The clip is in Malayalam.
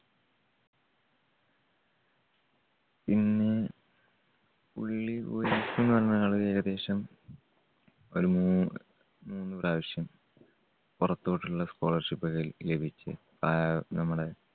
പിന്നെ പുള്ളി കളി ഏകദേശം ഒരു മൂന്ന്, മൂന്ന് പ്രാവശ്യം പുറത്തോട്ടുള്ള scholarship ലഭിച്ചു. ആഹ് നമ്മുടെ